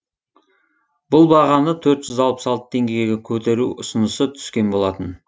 бұл бағаны төрт жүз алпыс алты теңгеге көтеру ұсынысы түскен болатын